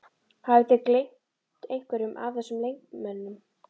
Hafið þið gleymt einhverjum af þessum leikmönnum?